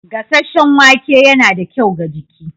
Gasasshen wake yana da kyau ga jiki.